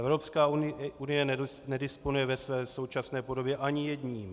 Evropská unie nedisponuje ve své současné podobě ani jedním.